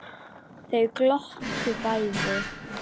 Þau glottu bæði.